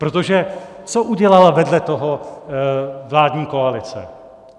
Protože co udělala vedle toho vládní koalice?